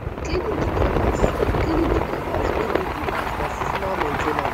cleaning the gutters cleaning the gutters wey dey di house na seasonal main ten ance